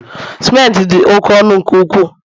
Simenti di oke ọnu nke ukwuu